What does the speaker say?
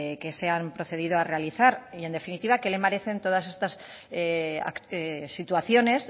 que se han procedido a realizar y en definitiva qué le parecen todas estas situaciones